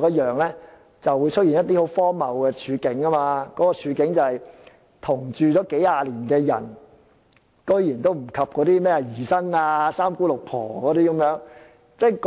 看齊，將會出現一些很荒謬的處境，那便是同住數十年的人竟然不及姨甥或"三姑六婆"等。